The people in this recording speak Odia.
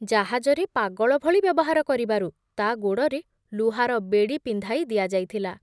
ଜାହାଜରେ ପାଗଳ ଭଳି ବ୍ୟବହାର କରିବାରୁ ତା ଗୋଡ଼ରେ ଲୁହାର ବେଡ଼ି ପିନ୍ଧାଇ ଦିଆ ଯାଇଥିଲା ।